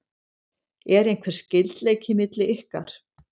Er einhver skyldleiki milli ykkar?